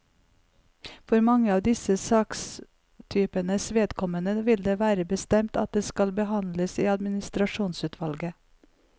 For mange av disse sakstypenes vedkommende vil det være bestemt at de skal behandles i administrasjonsutvalget.